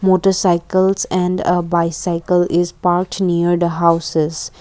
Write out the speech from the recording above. motorcycles and a bicycle is parked near the houses.